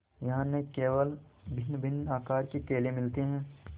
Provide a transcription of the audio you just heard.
यहाँ न केवल भिन्नभिन्न आकार के केले मिलते हैं